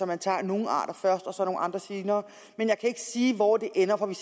man tager nogle arter først og så nogle andre senere men jeg kan ikke sige hvor det ender for vi